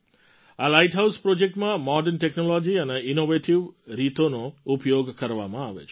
આ lighthouse પ્રૉજેક્ટમાં modern technology અને ઇનૉવેટિવ રીતોનો ઉપયોગ કરવામાં આવે છે